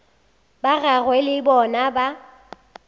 ba gagwe le bona ba